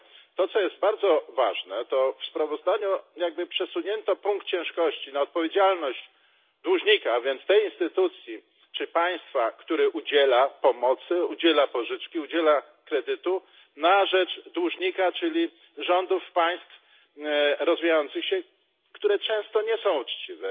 To co jest bardzo ważne w sprawozdaniu jakby przesunięto punkt ciężkości na odpowiedzialność dłużnika, więc nie tej instytucji czy państwa, które udziela pomocy, udziela pożyczki, udziela kredytu na rzecz dłużnika czyli rządów państw rozwijających się, które często nie są uczciwe,